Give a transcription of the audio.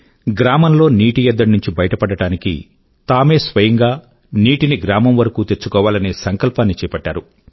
గ్రామం లో నీటి ఎద్దడి నుంచి బయటపడడానికి తామే స్వయం గా నీటిని గ్రామం వరకూ తెచ్చుకోవాలనే సంకల్పాన్ని చేపట్టారు